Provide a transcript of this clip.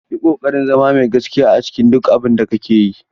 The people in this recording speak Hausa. Yi ƙoƙarin zama mai gaskiya a cikin duk abin da kake yi.